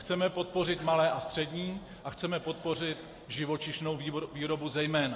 Chceme podpořit malé a střední a chceme podpořit živočišnou výrobu zejména.